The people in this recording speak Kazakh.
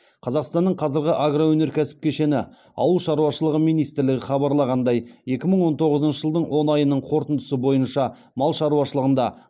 қазақстанның қазіргі агроөнеркәсіп кешені ауыл шаруашылығы министрлігі хабарлағандай екі мың он тоғызыншы жылдың он айының қорытындысы бойынша мал шаруашылығында